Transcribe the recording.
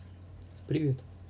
привет